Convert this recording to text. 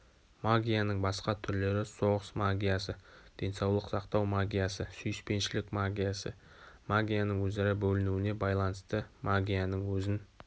магияның басқа түрлері соғыс магиясы денсаулық сақтау магиясы сүйіспеншілік магиясы магияның өзара бөлінуіне байланысты магияның өзін